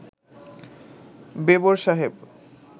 বেবর সাহেব